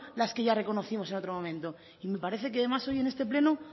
las que ya reconocimos en otro momento y me parece que además hoy en este pleno